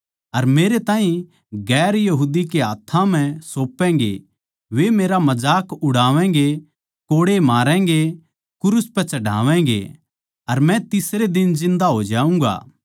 अर मेरे ताहीं गैर यहूदियाँ कै हाथ्थां म्ह सौपैगें वे मेरा मजाक उड़ावैगें कोड़े मारैगें क्रूस पै चढ़ावैगें अर मै तीसरै दिन जिन्दा हो जाऊँगा